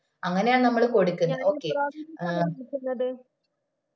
അങ്ങനെയാ നമ്മള് കൊടുക്കുന്നത് okay